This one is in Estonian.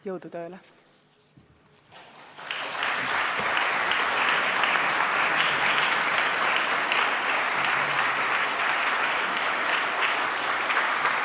Jõudu tööle!